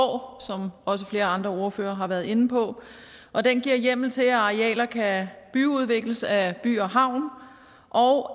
år som også flere andre ordførere har været inde på og den giver hjemmel til at arealer kan byudvikles af by havn og